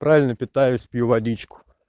правильно питаюсь пью водичку